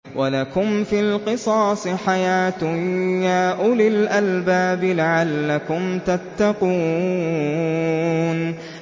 وَلَكُمْ فِي الْقِصَاصِ حَيَاةٌ يَا أُولِي الْأَلْبَابِ لَعَلَّكُمْ تَتَّقُونَ